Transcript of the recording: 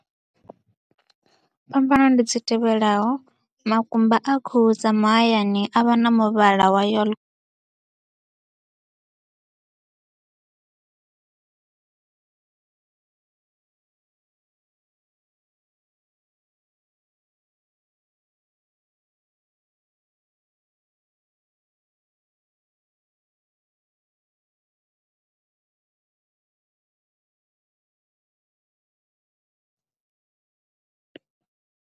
Phambano ndi dzi tevhelaho, makumba a khuhu dza mahayani a vha na muvhala wa yello.